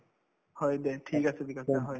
হয়, দে ঠিক আছে ঠিক আছে হয়